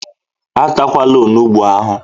E takwala onugbu ahụ!